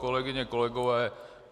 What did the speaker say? Kolegyně, kolegové.